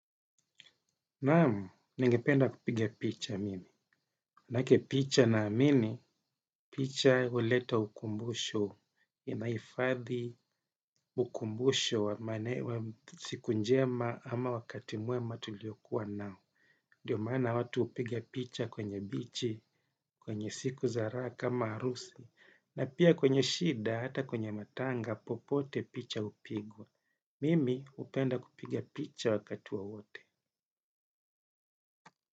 Naam, ningependa kupigia picha mimi. Nake picha ninaamini, picha huleta ukumbusho, inahifadhi ukumbusho wa siku njema ama wakati mwema tuliokuwa nao. Ndio maana watu hupiga picha kwenye bichi, kwenye siku za raha kama harusi, na pia kwenye shida hata kwenye matanga, popote picha hupigwa. Mimi hupenda kupigia picha wakati wowote.